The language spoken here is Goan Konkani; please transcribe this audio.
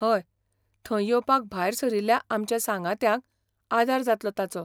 हय, थंय येवपाक भायर सरिल्ल्या आमच्या सांगात्यांक आदार जातलो ताचो.